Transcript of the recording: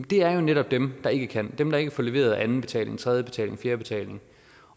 er jo netop dem der ikke kan dem der ikke får leveret anden betaling tredje betaling fjerde betaling